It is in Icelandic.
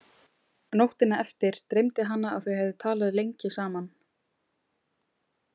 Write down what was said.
Nóttina eftir dreymdi hana að þau hefðu talað lengi saman.